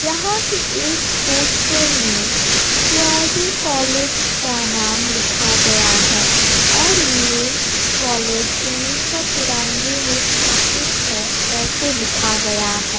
यहाँ के एक पोस्टर में के_आर_डी कॉलेज का नाम लिखा गया है और ये कॉलेज उन्नीस सौ तिरानवे में स्थापित है ऐसे लिखा गया है।